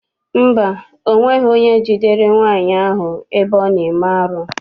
Mba, ọ nweghị onye jidere nwaanyị ahụ ebe ọ na-eme arụ.